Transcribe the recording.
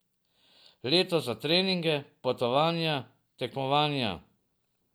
Leto za treninge, potovanja, tekmovanja.